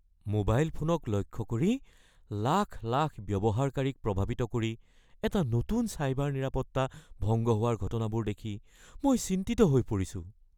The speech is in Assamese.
মোবাইল ফোনক লক্ষ্য কৰি লাখ লাখ ব্যৱহাৰকাৰীক প্ৰভাৱিত কৰি এটা নতুন চাইবাৰ নিৰাপত্তা ভংগ হোৱাৰ ঘটনাবোৰ দেখি মই চিন্তিত হৈ পৰিছোঁ।